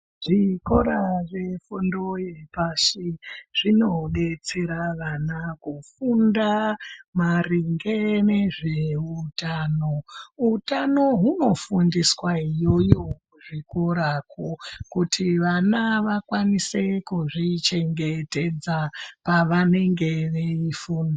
Zvikora zve fundo ye pashi zvino detsera vana kufunda maringe nezve utano utano huno fundiswa iyoyo ku zvikora uko kuti vana vakwanise kuzvi chengetedza pavanenge veyi funda.